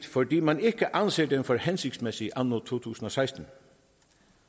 fordi man ikke anser den for hensigtsmæssig anno to tusind og seksten